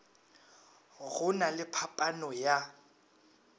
go na le phaphano ya